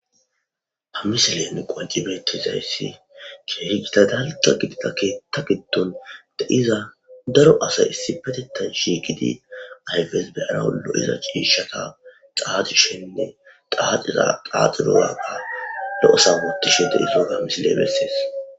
hamisilen qonci bettizayssi keeri gita dalqa gidida keetta giddon de7iza daro asay issi petetan shi gidi ayges beyanalo7iza ciishata xaaxishenne xaxaaxidozaga lo7osawodishe de isoga amisile bessees